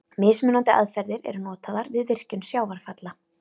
Mismunandi aðferðir eru notaðar við virkjun sjávarfalla.